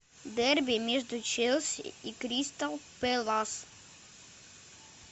дерби между челси и кристал пэлас